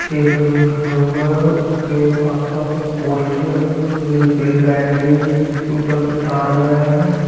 उसके आस-पास मे पोस्टर लगे हुए है लाइट गई है इसके ऊपर से तार गया है ।